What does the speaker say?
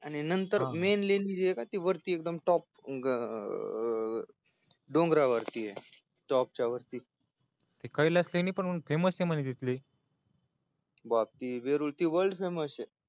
आणि नंत र मेन लेणीय का ती वरती एकदम टॉप अं डोंगरावरती य top च्यावरती तिथले बाकी वेरुळची वर्ल्ड फेमससय